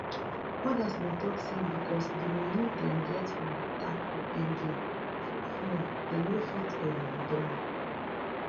odas bin tok say bicos di money dem get from di tap to earn game too small dem no fit um withdraw am